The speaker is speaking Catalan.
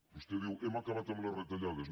vostè diu hem acabat amb les retallades